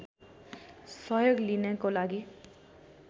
सहयोग लिनको लागि